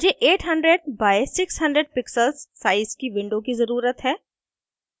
मुझे 800 by 600 pixels size की window की ज़रुरत है